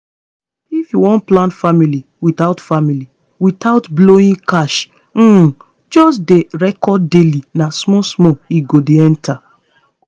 if you wan plan family without family without blowing cash um just dey record daily na small small e go dey enter.